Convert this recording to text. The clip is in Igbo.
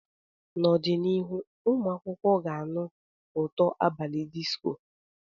N'ọdịnihu, ụmụ akwụkwọ ga-anụ ụtọ abalị disco.